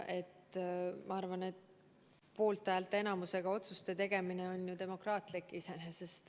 Ma arvan, poolthäälte enamusega otsuste tegemine on iseenesest ju demokraatlik.